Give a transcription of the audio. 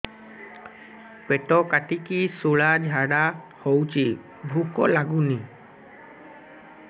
ପେଟ କାଟିକି ଶୂଳା ଝାଡ଼ା ହଉଚି ଭୁକ ଲାଗୁନି